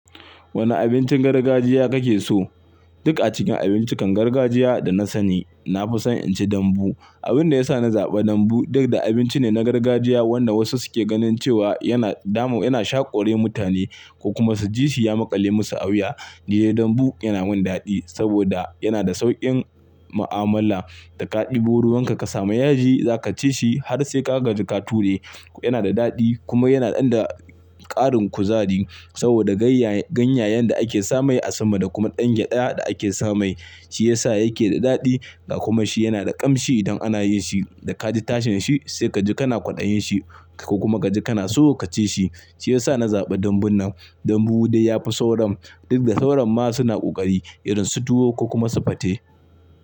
Wane abincin gargajiya kake so? Duk a cikin abincikan gargajiya da na sani, na fi son inci dambu. Abin da ya sa na zaɓa dambu, duk da abinci ne na gargajiya wanda wasu suke ganin cewa yana damu, yana shaƙore mutane ko kuma jisi ya maƙale musu auya. Ni dai dambu yana min daɗi saboda yana da sauƙin ma'amala. Da ka ɗebo ruwanka ka sami yaji, za ka ci shi har sai ka gaji ka ture. Yana da daɗi kuma yana ɗanda ƙarin kuzari saboda ganyayen da ake sa mai a sama da kuma dange ɗaya da ake sa mai, shi ya sa yake da daɗi ga kuma shi yana da ƙamshi idan ana yin shi. Da ka ji tashin shi sai kaji kana kwaɗayin shi ko kuma kaji kana so ka ci shi. Shi ya sa na zaɓi dambun nan. Dambu dai yafi sauran duk da sauran ma suna ƙoƙari idan su tuwo ko kuma su fate.